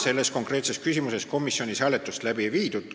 Selles konkreetses küsimuses komisjonis hääletust läbi ei viidud.